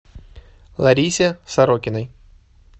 ларисе сорокиной